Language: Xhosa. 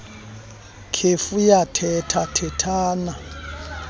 kef yathetha thethana